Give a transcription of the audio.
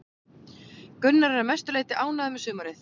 Gunnar er að mestu leiti ánægður með sumarið.